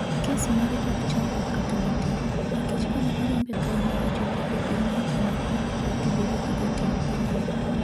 Kes mare ok chandwa kama matin nikech kane oriembe kae ma ochopo e piny Niger ne okm otudore gi jotend pinyno.